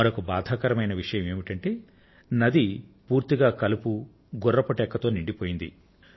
మరొక బాధాకరమైన విషయం ఏమిటంటే నది పూర్తిగా కలుపుతో గుర్రపు డెక్కతో నిండిపోయింది